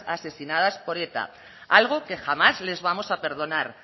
asesinadas por eta algo que jamás les vamos a perdonar